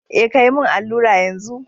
Eh kayi min allura yanzu.